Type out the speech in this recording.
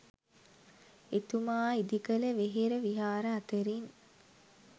එතුමා ඉදිකළ වෙහෙර විහාර අතරින්